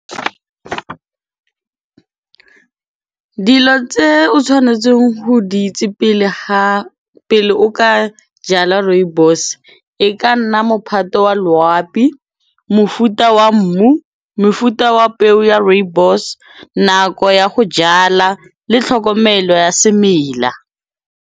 Dilo tse o tshwanetseng ho di itse pele o ka jala rooibos e ka nna mophato wa loapi, mofuta wa mmu, mofuta wa peo ya rooibos, nako ya ho jala le tlhokomelo ya semela.